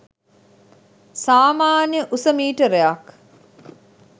සාමාන්‍ය උස මීටරයක්